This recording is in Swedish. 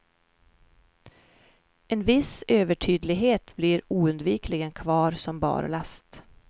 En viss övertydlighet blir oundvikligen kvar som barlast.